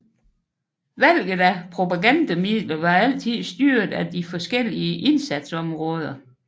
Valget af propagandamidler var altid styret af de forskellige indsatsområder